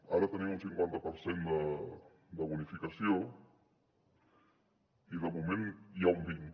ara tenim un cinquanta per cent de bonificació i de moment n’hi ha un vint